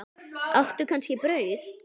Áttu kannski brauð?